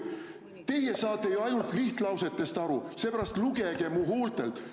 "Teie saate ju ainult lihtlausetest aru, seepärast lugege mu huultelt.